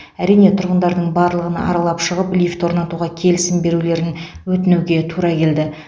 әрине тұрғындардың барлығын аралап шығып лифт орнатуға келісім берулерін өтінуге тура келді